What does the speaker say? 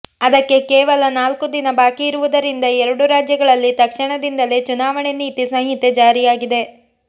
ಅದಕ್ಕೆ ಕೇವಲ ನಾಲ್ಕು ದಿನ ಬಾಕಿ ಇರುವುದರಿಂದ ಎರಡೂ ರಾಜ್ಯಗಳಲ್ಲಿ ತಕ್ಷಣದಿಂದಲೇ ಚುನಾವಣೆ ನೀತಿ ಸಂಹಿತೆ ಜಾರಿಯಾಗಿದೆ